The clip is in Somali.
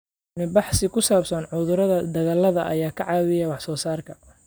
Cilmi-baadhis ku saabsan cudurrada dalagga ayaa ka caawiya wax-soo-saarka.